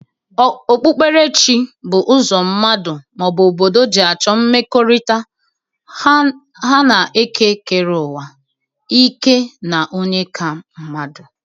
Okpukperechi bụ ụzọ mmadu, ma ọ bụ obodo ji achọ mmekọrịta ha na ekekereuwa, ike na onye ka mmadu.